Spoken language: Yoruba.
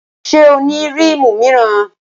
Ṣé o ní rímù míràn?